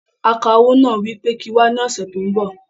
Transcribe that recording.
Akawó náà wí pé kí n wá ní ọsẹ tó n bọ̀